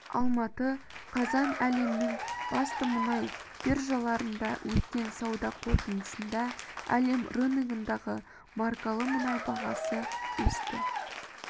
алматы қазан әлемнің басты мұнай биржаларында өткен сауда қортындысында әлем рыногындағы маркалы мұнай бағасы өсті